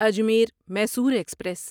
Ajmer Mysore express